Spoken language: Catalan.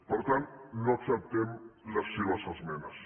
per tant no acceptem les seves esmenes